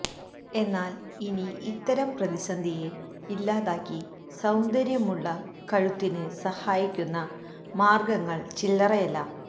എന്നാല് ഇനി ഇത്തരം പ്രതിസന്ധിയെ ഇല്ലാതാക്കി സൌന്ദര്യമുള്ള കഴുത്തിന് സഹായിക്കുന്ന മാര്ഗ്ഗങ്ങള് ചില്ലറയല്ല